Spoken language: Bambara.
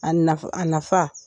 A nafa